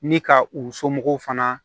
Ni ka u somɔgɔw fana